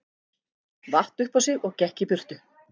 Vatt upp á sig og gekk í burtu.